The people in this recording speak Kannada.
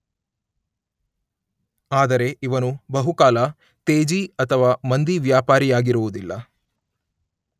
ಆದರೆ ಇವನು ಬಹುಕಾಲ ತೇಜಿ ಅಥವಾ ಮಂದಿ ವ್ಯಾಪಾರಿಯಾಗಿರುವುದಿಲ್ಲ.